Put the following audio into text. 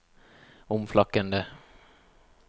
omflakkende